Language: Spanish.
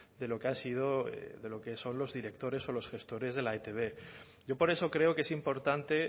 de lo que ha sido de lo que son los directores o los gestores de la e i te be yo por eso creo que es importante